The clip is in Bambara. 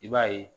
I b'a ye